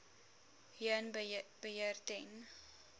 heen beheer ten